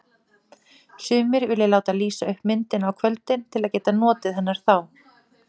Sumir vilja láta lýsa upp myndina á kvöldin til að geta notið hennar þá.